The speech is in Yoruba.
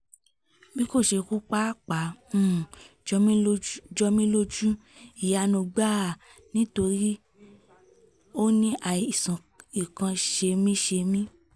bí kò ṣe kú pàápàá um jọ mí lójú jọ mí lójú ìyanu gbáà nítorí ó ní àìsàn ikọ̀ ṣemí-ṣemí